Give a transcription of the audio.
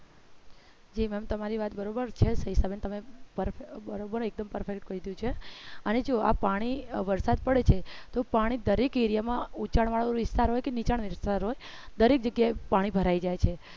જેમ ma'am તમારી વાત બરોબર છેતમે એક દમ prefect કયું છે અને જો આ પાણી વરસાદ પડે છે તો પાણી દરેક area માં ઉંચાણ વાળો વિસ્તાર હોય કે નીચા હોય દરેક જગ્યાએ પાણી ભરાઈ જાય છે